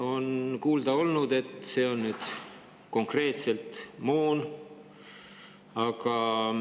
On kuulda olnud, et see on konkreetselt moona jaoks.